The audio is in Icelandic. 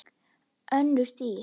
Önnur dýr